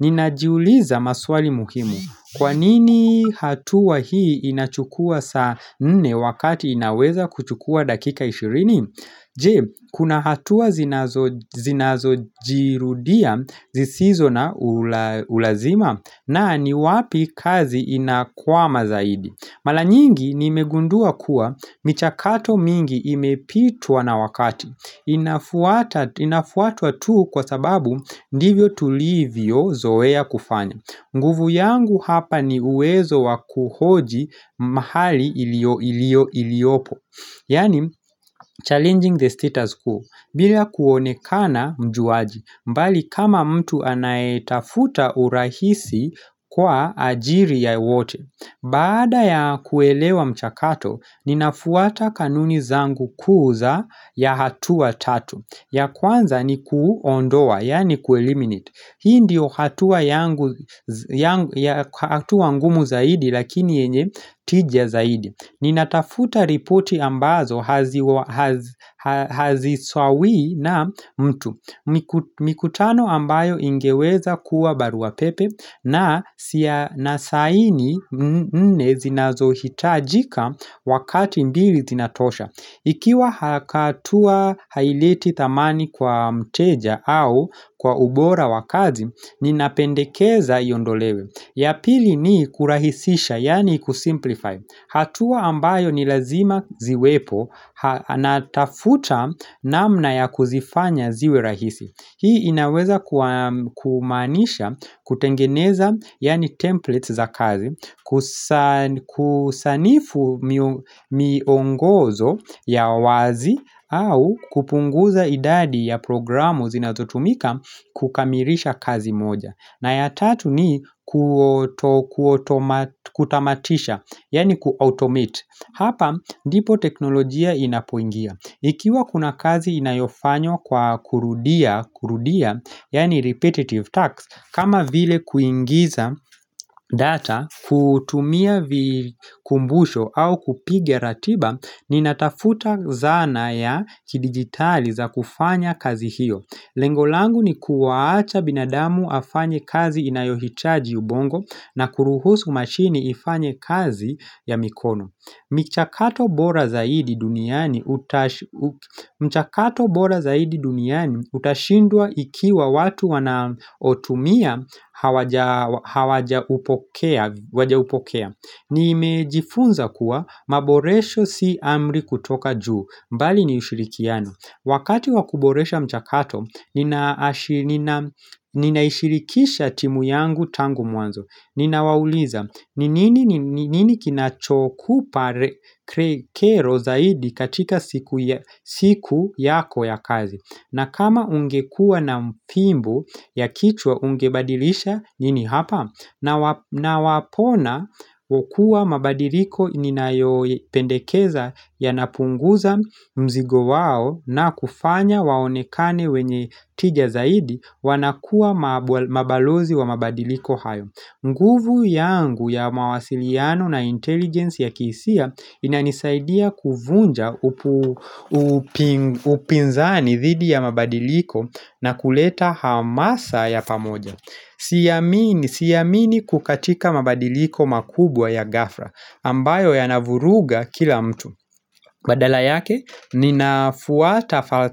Ninajiuliza maswali muhimu Kwanini hatua hii inachukua saa nne wakati inaweza kuchukua dakika ishirini Je, kuna hatua zinazo zinazo jirudia zisizo na ula ulazima na ni wapi kazi inakwama zaidi Malanyingi nimegundua kuwa michakato mingi imepitwa na wakati. Inafuata Inafuatwatu kwa sababu ndivyo tulivyo zoea kufanya. Nguvu yangu hapa ni uwezo wakuhoji mahali ilio ilio iliopo. Yani challenging the status quo bila kuonekana mjuaji mbali kama mtu anaitafuta urahisi kwa ajiri ya wote Baada ya kuelewa mchakato ninafuata kanuni zangu kuu za ya hatua tatu ya kwanza ni kuondoa yani kueliminet Hii ndio hatua yangu zya yangu ya hatua ngumu zaidi lakini yenye tija zaidi Ninatafuta ripoti ambazo haziwa hazi haziswawi na mtu miku mikutano ambayo ingeweza kuwa baruapepe na siya nasaini Nne zinazohitajika wakati mbili zinatosha Ikiwa hakatua haileti thamani kwa mteja au kwa ubora wakazi, ninapendekeza iondolewe Yapili ni kurahisisha, yani kusimplify hatua ambayo ni lazima ziwepo natafuta namna ya kuzifanya ziwe rahisi Hii inaweza kua kumaanisha kutengeneza yani templates za kazi kusan Kusanifu mio miongozo ya wazi au kupunguza idadi ya programu zinazotumika kukamirisha kazi moja na ya tatu ni kuoto kutamatisha, yani ku-automate Hapa, ndipo teknolojia inapoingia Ikiwa kuna kazi inayofanywa kwa kurudia kurudia, yani repetitive tasks kama vile kuingiza data, kutumia vikumbusho au kupiga ratiba Ninatafuta zana ya kidigitali za kufanya kazi hiyo Lengolangu ni kuwaacha binadamu afanye kazi inayohitaji ubongo na kuruhusu mashini ifanye kazi ya mikono michakato bora zaidi duniani utash u mchakato bora zaidi duniani utashindwa ikiwa watu wanaotumia hawaja hawaja upokea wajaupokea ni imejifunza kuwa maboresho si amri kutoka juu, mbali ni ushirikiano Wakati wakuboresha mchakato nina ashi nin ninaishirikisha timu yangu tangu mwanzo Nina wauliza ni nini nin ni nini kinachoku pare kero zaidi katika sikuya siku yako ya kazi na kama ungekuwa na mpimbu ya kichwa ungebadilisha nini hapa nawa na wapona wokua mabadiliko ninayopendekeza ya napunguza mzigo wao na kufanya waonekane wenye tija zaidi wanakua mabwal mabalozi wa mabadiliko hayo nguvu yangu ya mawasiliano na intelligence ya kiisia inanisaidia kuvunja upu upinzani dhidi ya mabadiliko na kuleta hamasa ya pamoja siamini Siamini kukatika mabadiliko makubwa ya gafra ambayo ya navuruga kila mtu Badala yake ninafuata falsa.